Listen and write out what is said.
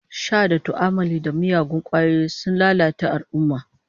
Sha da tu'ammali da miyagun kwayoyi sun lalata al'ummah